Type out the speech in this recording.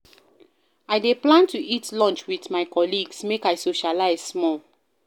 I dey plan to eat lunch wit my colleagues, make I socialize small.